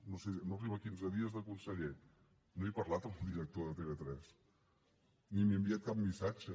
no ho sé no arriba a quinze dies de conseller i no he parlat amb el director de tv3 ni m’hi he enviat cap missatge